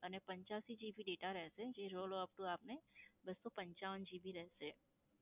અને પંચયાસી GB data રહેશે જે rollover upto આપને બસ્સો પંચાવન GB રહેશે.